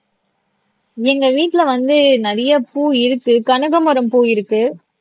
எங்க வீட்டுல வந்து நிறைய பூ இருக்கு கனகமரம் பூ இருக்கு